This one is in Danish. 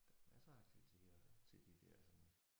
Der masser af aktiviteter til de der sådan